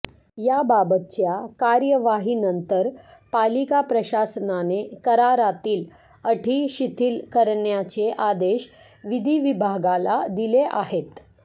याबाबतच्या कार्यवाहीनंतर पालिका प्रशासनाने करारातील अटी शिथिल करण्याचे आदेश विधी विभागाला दिले आहेत